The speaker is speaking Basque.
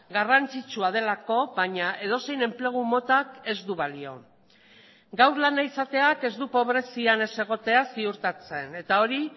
garrantzitsua delako baina edozein enplegu motak ez du balio gaur lana izateak ez du pobrezian ez egotea ziurtatzen eta hori